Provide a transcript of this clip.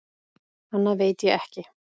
Annað veit ég ekki.